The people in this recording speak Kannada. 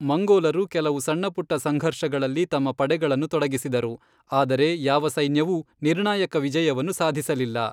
ಮಂಗೋಲರು ಕೆಲವು ಸಣ್ಣಪುಟ್ಟ ಸಂಘರ್ಷಗಳಲ್ಲಿ ತಮ್ಮ ಪಡೆಗಳನ್ನು ತೊಡಗಿಸಿದರು, ಆದರೆ ಯಾವ ಸೈನ್ಯವೂ ನಿರ್ಣಾಯಕ ವಿಜಯವನ್ನು ಸಾಧಿಸಲಿಲ್ಲ.